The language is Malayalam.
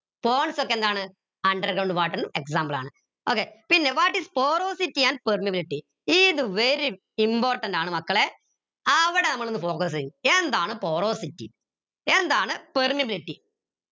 ponds ഒക്കെന്താണ് underground water ന് example ആണ് okay പിന്നെ what is porosity and permeability ഇത് very important ആണ് മക്കളെ അവിടെ നമ്മളൊന്ന് focus എയും എന്താണ് porosity എന്താണ് permeability